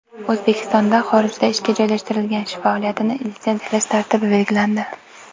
O‘zbekistonda xorijda ishga joylashtirish faoliyatini litsenziyalash tartibi belgilandi.